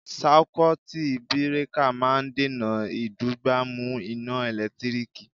Sáíkútí birakà máa ń dènà ìdúgbàmù iná ẹ̀lẹ́tíríkì.